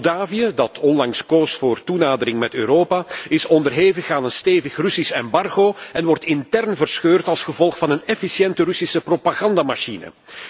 Moldavië, dat onlangs koos voor toenadering met Europa, is onderhevig aan een stevig Russisch embargo en wordt intern verscheurd als gevolg van een efficiënte Russische propagandamachine.